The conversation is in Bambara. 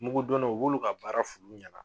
Mugu donnaw u b'olu ka baara f'ulu ɲana.